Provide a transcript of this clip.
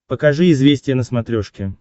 покажи известия на смотрешке